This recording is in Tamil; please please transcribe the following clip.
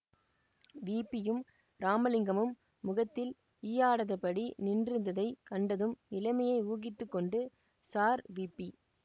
விபியும் ராமலிங்கமும் முகத்தில் ஈயாடாதபடி நின்றிருந்ததைக் கண்டதும் நிலைமையை ஊகித்து கொண்டு ஸார் விபி